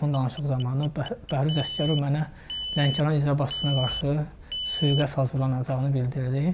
Telefon danışığı zamanı Bəhruz Əsgərov mənə Lənkəran icra başçısına qarşı sui-qəsd hazırlanacağını bildirdi.